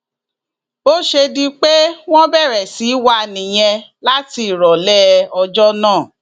bó ṣe di pé wọn bẹrẹ sí í wá a nìyẹn láti ìrọlẹ ọjọ náà